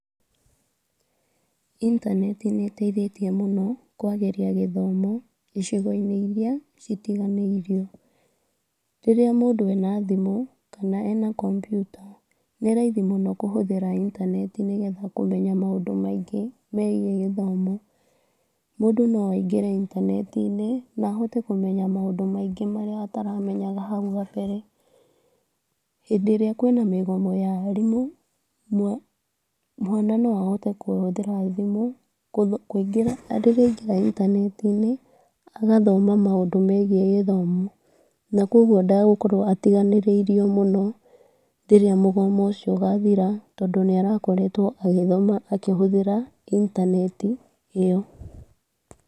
Intaneti nĩ ĩteithĩtie mũno kwagĩria gĩthomo, icigo-inĩ iria citiganĩirio, rĩrĩa mũndũ ena thimũ, kana ena kompyuta, nĩ raithi mũno kũhũthĩra intaneti nĩgetha kũmenya maũndũ maingĩ megiĩ gĩthomo, mũndũ no aingĩre intaneti-inĩ na ahote kũmenya maũndũ maingĩ marĩa ataramenyaga hau gambere, hĩndĩ ĩrĩa nguona mĩgomo ya arimũ , mwana no ahote kũhũthĩra thimũ, rĩrĩa aingĩra intaneti-inĩ agathoma maũndũ megiĩ gĩthomo, na kugwo ndagũkorwo atiganĩrĩirio mũno, rĩrĩa mũgomo ũcio ũgathira tondũ nĩ arakoretwo akĩhũthĩra intaneti ĩyo.